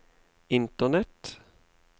internett